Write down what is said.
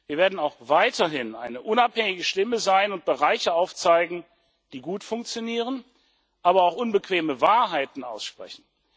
Wir werden auch weiterhin eine unabhängige Stimme sein und Bereiche aufzeigen, die gut funktionieren, aber auch unbequeme Wahrheiten aussprechen.